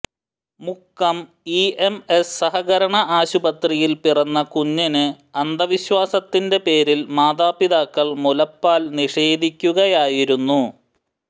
Mukkam EMS സഹകരണ ആശുപത്രിയിൽ പിറന്ന കുഞ്ഞിന് അന്ധ വിശ്വാസത്തിന്റെ പേരിൽ മാതാപിതാക്കൾ മുലപ്പാൽ നിഷേധിക്കുകയായിരുന്നു